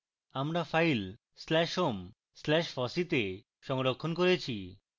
আমরা file slash home slash fossee তে সংরক্ষণ করেছি